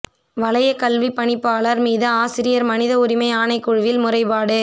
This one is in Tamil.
வலயக் கல்விப் பணிப்பாளர் மீது ஆசிரியர் மனித உரிமை ஆணைக்குழுவில் முறைப்பாடு